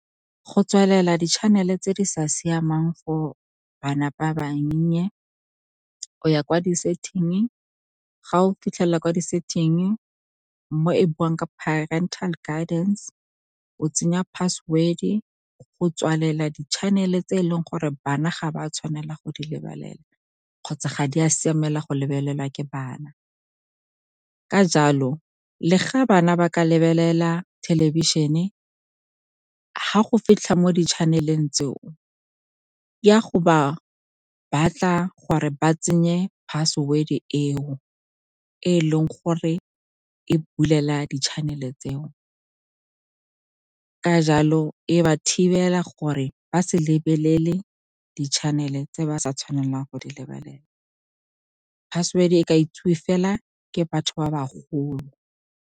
Go tswalela di-channel-e tse di sa siamang for bana ba bannye, o ya kwa di-setting-e. Ga o fitlhelela kwa di-setting-e mo e buang ka parental guidance, o tsenya password-e go tswalela di-channel-e tse e leng gore bana ga ba tshwanela go di lebelela kgotsa ga di a siamela go lebelelwa ke bana. Ka jalo, le ga bana ba ka lebelela thelebišene, ga go fitlhe mo di-channel-eng tseo, ya go ba batla gore ba tsenye password-te e o e leng gore e bulela di-channel-e tseo. Ka jalo, e ba thibela gore ba se lebelele di-channel-e tse ba sa tshwanelang go di lebelela. Password-te e ka itsiwe fela ke batho ba ba golo.